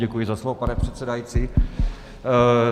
Děkuji za slovo, pane předsedající.